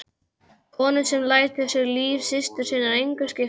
Konu sem lætur sig líf systur sinnar engu skipta.